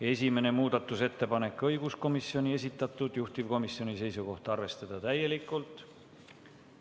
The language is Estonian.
Esimene muudatusettepanek on õiguskomisjoni esitatud, juhtivkomisjoni seisukoht on arvestada seda täielikult.